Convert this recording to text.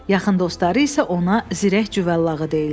Yaxın dostları isə ona zirək cüvəllağı deyirlər.